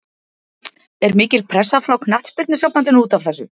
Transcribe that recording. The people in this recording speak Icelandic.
Er mikil pressa frá Knattspyrnusambandinu útaf þessu?